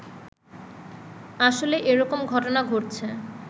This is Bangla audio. আসলে এরকম ঘটনা ঘটছে